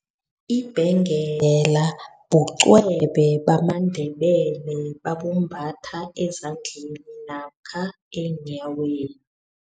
Ibhengela bucwebe bamandebele babumbatha ezandleni namkha eenyaweni.